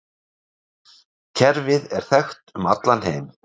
Kerfið er þekkt um allan heim.